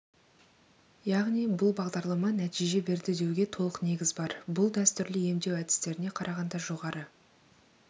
яғни бұл бағдарлама нәтиже берді деуге толық негіз бар бұл дәстүрлі емдеу әдістеріне қарағанда жоғары